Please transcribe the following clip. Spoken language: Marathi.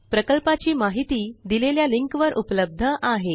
प्रकल्पाची माहिती दिलेल्या लिंकवर उपलब्ध आहे